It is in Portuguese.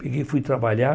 Peguei e fui trabalhar.